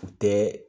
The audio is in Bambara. U tɛ